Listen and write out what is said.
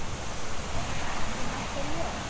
Er það ekki nokkuð ljóst?